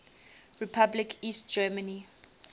republic east germany